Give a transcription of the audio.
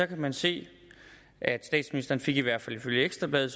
kan man se at statsministeren i hvert fald ifølge ekstra bladet